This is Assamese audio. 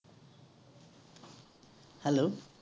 hello.